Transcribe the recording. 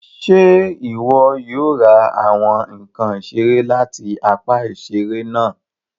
Ṣe iwọ yóò ra awọn nkán iṣere láti apá iṣere náà